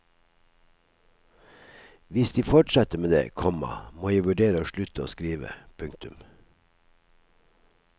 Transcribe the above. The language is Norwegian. Hvis de fortsetter med det, komma må jeg vurdere å slutte å skrive. punktum